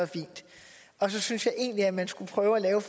er fint så synes jeg egentlig at man skulle prøve at lave